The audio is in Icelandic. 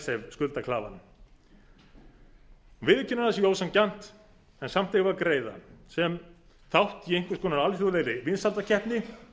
icesave skuldaklafann viðurkennir að það sé ósanngjarnt en samt eigum við að greiða sem þátt í einhvers konar alþjóðlegri vinsældakeppni